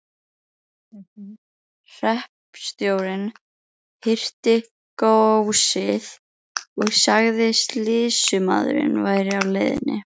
Hreppstjórinn hirti góssið og sagði að sýslumaðurinn væri á leiðinni.